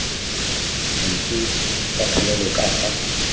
dife tsa thalelo ka fa